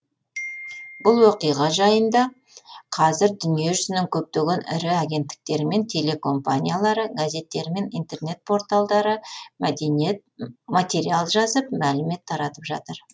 бұл оқиға жайында қазір дүниежүзінің көптеген ірі агенттіктері мен телекомпаниялары газеттері мен интернет порталдары материал жазып мәлімет таратып жатыр